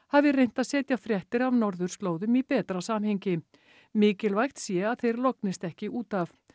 hafi reynt að setja fréttir af norðurslóðum í betra samhengi mikilvægt sé að þeir lognist ekki út af